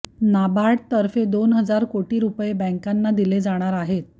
नाबार्डतर्फे दोन हजार कोटी रुपये बॅंकांना दिले जाणार आहेत